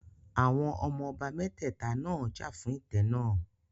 Àwọn ọmọ ọba mẹ́tẹ̀ta náà jà fún ìtẹ́ náà